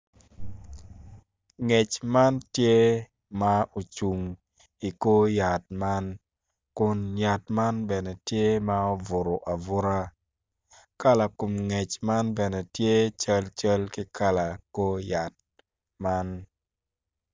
Ngec man tye ma ocung i kor yat man kun yatman bene tye ma obuto abuta kala kom ngec tye calcal ki kala kor yat man.